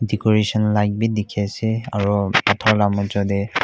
dicoration light bi dikhi ase aro pathor la majo dey.